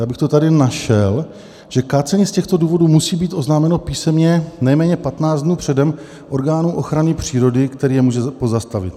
Já bych to tady našel - že "kácení z těchto důvodů musí být oznámeno písemně nejméně 15 dnů předem orgánu ochrany přírody, který je může pozastavit."